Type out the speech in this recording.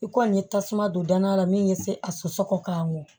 I kɔni ye tasuma don danaya la min be se a sɔsɔ k'a mɔ